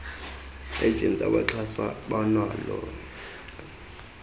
agents abaxhaswa banalo